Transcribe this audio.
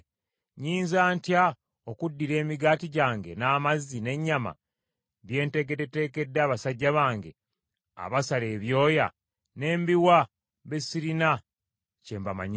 Nnyinza ntya okuddira emigaati gyange, n’amazzi, n’ennyama bye ntekeddeteekedde abasajja bange abasala ebyoya ne mbiwa be sirina kye mbamanyiiko?”